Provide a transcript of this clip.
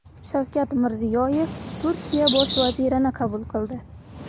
Shavkat Mirziyoyev Turkiya bosh vazirini qabul qildi.